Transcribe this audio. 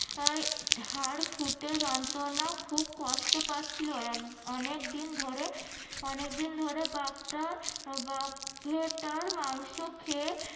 হার ফুটে যন্ত্রনা খুব কষ্ট পাচ্ছিলো অনেকদিন ধরে অনেকদিন ধরে বাঘটার বাঘটার মাংস খেয়ে